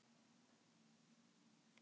Fær hann skammir?